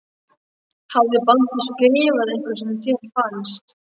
Hafði Baldur skrifað eitthvað sem þér fannst.